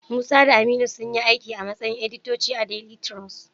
Musa da Aminu sunyi aiki a matsayin editoti a daili tirus.